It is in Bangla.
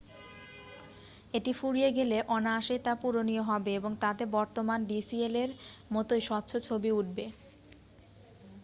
এটি ফুরিয়ে গেলে অনায়াসেই তা পূরণীয় হবে এবং তাতে বর্তমান ডিসিএলএর-এর মতোই স্বচ্ছ ছবি উঠবে